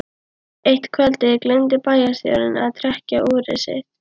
Eitt kvöldið gleymdi bæjarstjórinn að trekkja úrið sitt.